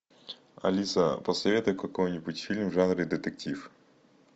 алиса посоветуй какой нибудь фильм в жанре детектив